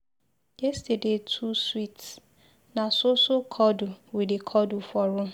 Yesterday too sweet, na so so cuddle we dey cuddle for room.